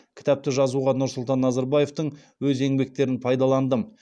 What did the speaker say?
кітапты жазуға нұрсұлтан назарбаевтың өз еңбектерін пайдаландым